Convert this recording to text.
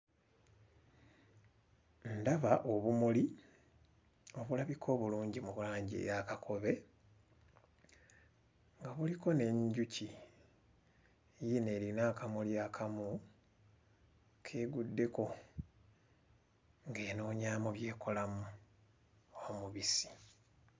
Ndaba obumuli obulabika obulungi mu langi eya kakobe nga buliko n'enjuki yiino erina akamuli akamu k'eguddeko ng'enoonyaamu by'ekolamu omubisi.